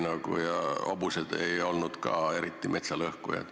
Ja hobused ei olnud ka erilised metsa lõhkujad.